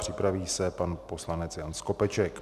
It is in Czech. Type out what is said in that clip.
Připraví se pan poslanec Jan Skopeček.